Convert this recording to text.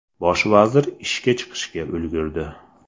Bosh vazir ishga chiqishga ulgurdi.